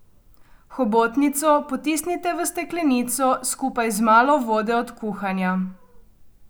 Hobotnico potisnite v steklenico, skupaj z malo vode od kuhanja.